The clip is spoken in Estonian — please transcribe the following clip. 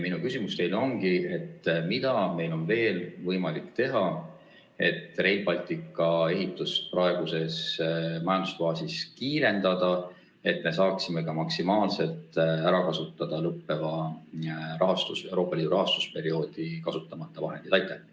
Minu küsimus teile ongi järgmine: mida on meil veel võimalik teha, et Rail Balticu ehitust praeguses majandusfaasis kiirendada, et saaksime maksimaalselt ära kasutada Euroopa Liidu lõppeva rahastusperioodi kasutamata vahendeid?